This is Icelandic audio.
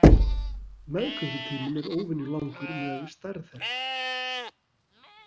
Meðgöngutíminn er óvenjulangur miðað við stærð þeirra.